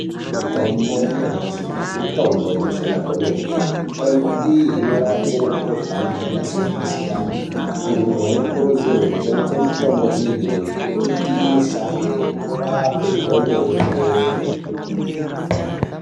Mitombo yanyamashi mitombo inoshanda kwemene, mitombo iyi inorape mikuhlani yakasiyana siyana antu anokurudzirwe kushandisa mitombo iyi ngekuti inoshande inorape kwemene.